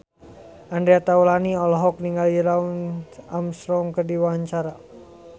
Andre Taulany olohok ningali Lance Armstrong keur diwawancara